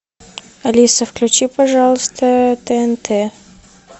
алиса включи пожалуйста тнт